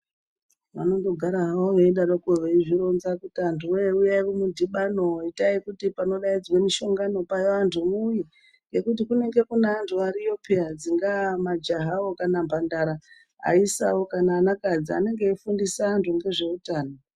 Vanongogara hawo eidaroko eizvironza kuti antuwee huyai kumudhibano, itai kuti panodaidzwa mushongano paya vantu muuye ngekuti kunenga kunaantu ariyo peya. Dzingaa majahawo kana mbandara, aisawo kana anakadzi anonga eifundisa antu ngezveutano.